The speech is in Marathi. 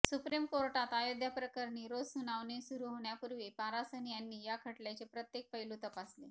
सुप्रीम कोर्टात अयोध्या प्रकरणी रोज सुनावणी सुरू होण्यापूर्वी पारासरन यांनी या खटल्याचे प्रत्येक पैलू तपासले